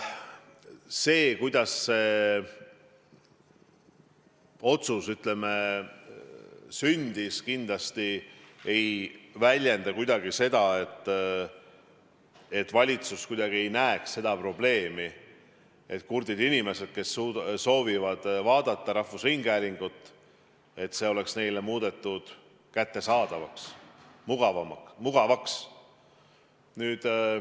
See, kuidas see otsus sündis, kindlasti ei väljenda kuidagi seda, et valitsus ei näe seda probleemi, et kurtidele inimestele, kes soovivad vaadata rahvusringhäälingu saateid, oleks see muudetud kättesaadavaks, mugavaks.